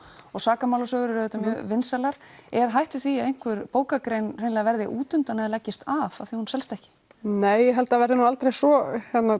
og sakamálasögur eru auðvitað mjög vinsælar er hætt við því að einhver bókagrein hreinlega verði útundan eða leggist af af því hún selst ekki nei ég held það verði nú aldrei svo